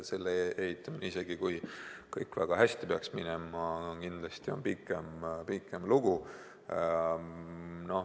Selle ehitamine, isegi kui kõik väga hästi peaks minema, on kindlasti pikem lugu.